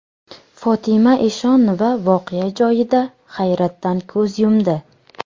Fotima Eshonova voqea joyida hayotdan ko‘z yumdi.